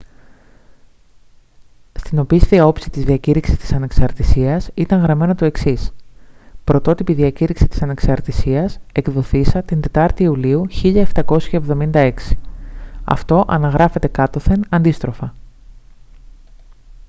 στην οπίσθια όψη της διακήρυξης της ανεξαρτησίας ήταν γραμμένο το εξής «πρωτότυπη διακήρυξη της ανεξαρτησίας εκδοθείσα την 4η ιουλίου 1776». αυτό αναγράφεται κάτωθεν αντίστροφα